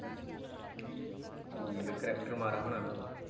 ਠੀਕ ਕਰੈਕਟਰ ਮਾੜਾ ਹੁਣਾ ਹਣਾ ਉਹਦਾ?